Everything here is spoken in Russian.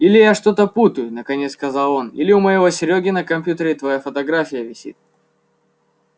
или я что-то путаю наконец сказал он или у моего серёги на компьютере твоя фотография висит